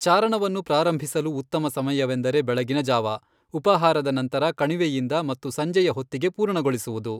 ಚಾರಣವನ್ನು ಪ್ರಾರಂಭಿಸಲು ಉತ್ತಮ ಸಮಯವೆಂದರೆ ಬೆಳಗಿನ ಜಾವ, ಉಪಹಾರದ ನಂತರ ಕಣಿವೆಯಿಂದ ಮತ್ತು ಸಂಜೆಯ ಹೊತ್ತಿಗೆ ಪೂರ್ಣಗೊಳಿಸುವುದು.